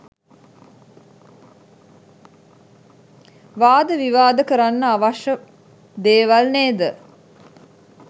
වාද විවාද කරන්න අවශ්‍ය දේවල් නේද?